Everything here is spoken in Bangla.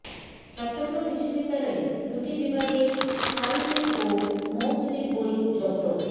চট্টগ্রাম বিশ্ববিদ্যালয়ে দুটি বিভাগে সাঈদী ও মওদুদীর বই জব্দ